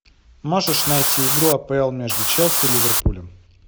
можешь найти игру апл между челси и ливерпулем